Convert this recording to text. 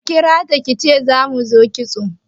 Ki kirata kice za mu zo kitso